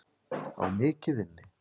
Á mikið inni.